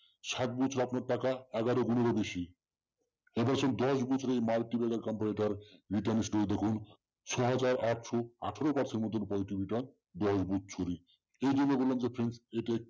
সাত বছরে আপনার টাকা এগারো-গুনের ও বেশি তারমানে দশ বছরের multibagger company তে return গুলো দেখুন ছয়হাজার আটশ আঠারো percent পর্যন্ত positive return বছরে